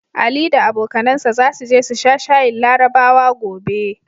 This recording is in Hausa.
Ali da abokanansa zasu je su sha shayin Larabawa gobe.